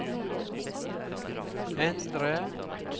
endre